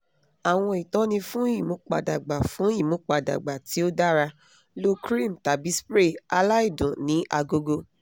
àwọn ìtọ́ni fún ìmúpadàgba fún ìmúpadàgba tí ó dára lo cream tàbí spray aláìdùn ni agogo